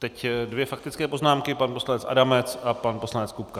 Teď dvě faktické poznámky - pan poslanec Adamec a pan poslanec Kupka.